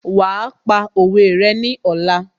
Wàá pa òwe rẹ ní ọ̀la